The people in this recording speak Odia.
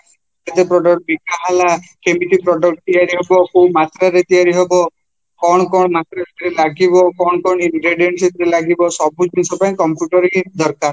କେତେ product ବିକାହେଲା କେମିତି product ତିଆରି ହବ, କୋଉମାସରେ ତିଆରି ହବ କଣ କ'ଣ material ଲାଗିବ, କଣ କଣ intendency ଲାଗିବ ସବୁ ଜିନିଷ ପାଇଁ computer ଦରକାର